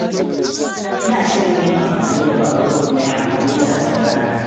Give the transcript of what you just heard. Ina shirin yin amfani da babur mai amfani da hasken rana.